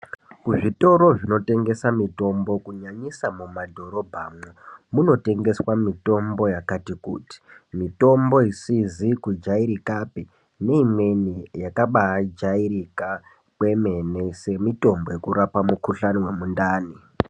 Kuzvitoro zvinotengesa mitombo kunyanyisa mumadhorobhamwo munotengeswa mitombo yakati kuti. Mitombo isizi kugairikapi neimweni yakabajairikapi neimweni yakabajairika kemene semitombo yekurapa mikuhlani..